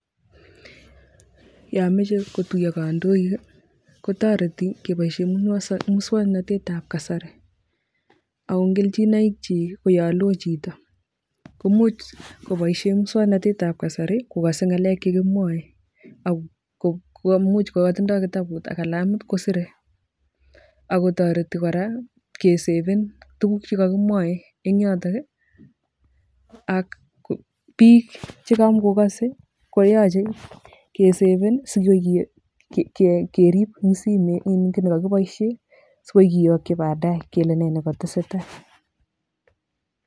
Yo mechei kotuiyo kandoik kotoreti kepoishe muswoknatetab kasari ako kelchinoik chi koyo loo chito, komuch kopoishe muswoknatetab kasari kokase ngalek che kimwae ako kaimuch katindoi kalamit ak kitabut koserei ako toreti kora keseven tuguk chekakimwae eng yoto ak biik chekamokokasei koyache keseven sikoi keriip eng simet, kiiy nekakipoishe sikoi keyoki baadae kele nee nekatesetai.